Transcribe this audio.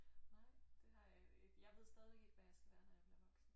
Nej det har jeg ikke jeg ved stadig ikke hvad jeg skal være når jeg bliver voksen